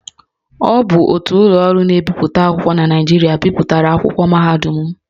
Ọ bụ otu ụlọ ọrụ na-ebipụta akwụkwọ na Naịjirịa bipụtara akwụkwọ mahadum m